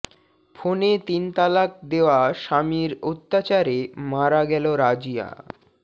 ফোনে তিন তালাক দেওয়া স্বামীর অত্যাচারে মারা গেল রাজিয়া